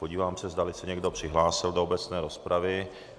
Podívám se, zdali se někdo přihlásil do obecné rozpravy.